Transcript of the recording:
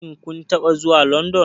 Shin kun taɓa zuwa London?